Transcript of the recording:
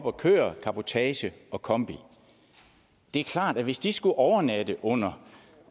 og kører cabotage og kombi det er klart at hvis de skulle overnatte under